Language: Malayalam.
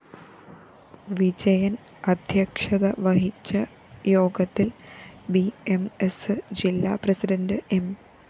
വിജയന്‍ അദ്ധ്യക്ഷത വഹിച്ച യോഗത്തില്‍ ബി എം സ്‌ ജില്ലാ പ്രസിഡന്റ് എം